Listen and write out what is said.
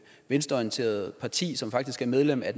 venstreorienterede parti som faktisk er medlem af